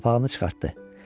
Papağını çıxartdı.